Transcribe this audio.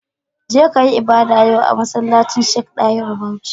Je kayi ibada yau a masallacin Sheik Dahiru Bauchi